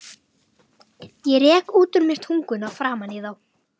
Ég rek út úr mér tunguna framan í þá.